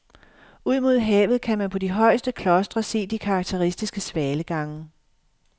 Ud mod havet kan man på de højeste klostre se de karakteristiske svalegange.